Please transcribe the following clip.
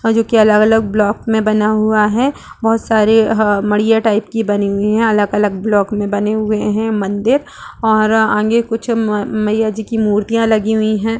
अ जोकि अलग-अलग ब्लाक में बना हुआ है बहुत सारे अ मड़िया टाइप की बने हुए हैं अलग-अलग ब्लॉक में बने हुए हैं मंदिर और आगे कुछ मइया जी की मूर्तियाँ लगी हुई हैं।